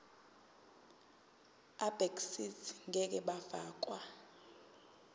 abegcis ngeke bafakwa